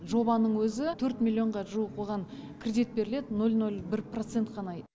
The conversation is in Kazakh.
жобаның өзі төрт миллионға жуық оған кредит беріледі нөл нөл бір процент қана